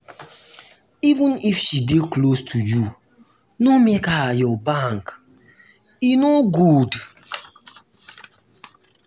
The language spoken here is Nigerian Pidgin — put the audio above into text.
even if she dey close to you no make her your bank. e no good.